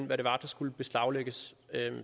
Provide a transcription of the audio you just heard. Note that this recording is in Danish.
hvad det var der skulle beslaglægges